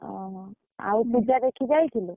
ଓହୋ, ଆଉ ପୂଜା ଦେଖି ଯାଇଥିଲୁ?